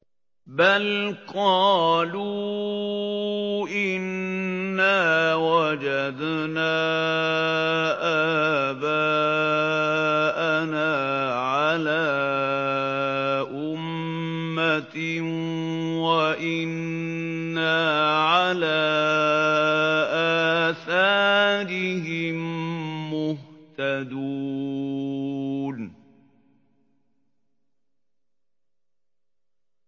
بَلْ قَالُوا إِنَّا وَجَدْنَا آبَاءَنَا عَلَىٰ أُمَّةٍ وَإِنَّا عَلَىٰ آثَارِهِم مُّهْتَدُونَ